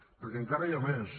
perquè encara hi ha més